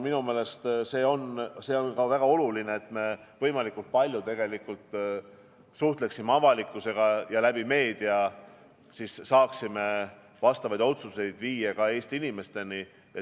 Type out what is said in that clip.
Minu meelest on väga oluline, et me suhtleksime võimalikult palju avalikkusega ja meedia kaudu saaksime vastavaid otsuseid viia ka Eesti inimesteni.